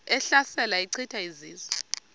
ehlasela echitha izizwe